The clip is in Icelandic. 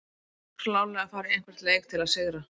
Klárlega að fara í hvern leik til að sigra!